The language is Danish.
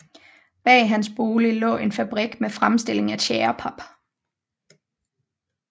Bag hans bolig lå en fabrik med fremstilling af tjærepap